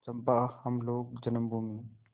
चंपा हम लोग जन्मभूमि